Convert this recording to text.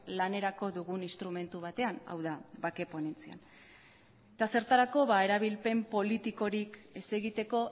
lanerako dugun instrumentu batean hau da bake ponentzia eta zertarako erabilpen politikorik ez egiteko